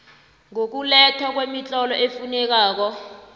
ngokulethwa kwemitlolo efunekako